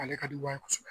Ale ka di u ye kosɛbɛ